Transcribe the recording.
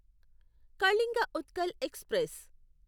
Kalinga Utkal express